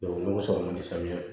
n'o sɔrɔ man di sanuya